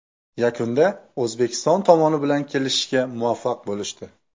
Yakunda O‘zbekiston tomoni bilan kelishishga muvaffaq bo‘lishdi.